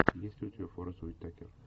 есть ли у тебя форест уитакер